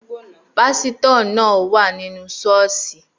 Pásítọ̀ náà wà ní inú Sọ́ọ̀sì